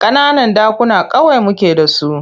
Ƙananan ɗakuna kawai muke da su.